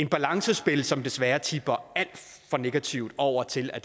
balancespil som desværre tipper alt for negativt over til at